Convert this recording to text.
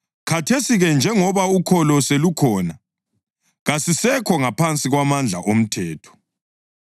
Khathesi-ke njengoba ukholo selukhona, kasisekho ngaphansi kwamandla omthetho.